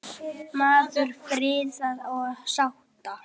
Maður friðar og sátta.